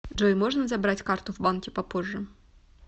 джой можно забрать карту в банке попозже